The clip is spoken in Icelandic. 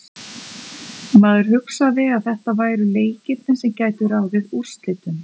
Maður hugsaði að þetta væru leikirnir sem gætu ráðið úrslitum.